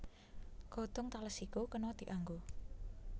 Godhong tales iku kena dianggo